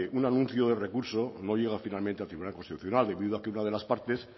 un anuncio de recurso no llega finalmente al tribunal constitucional debido a que una de las partes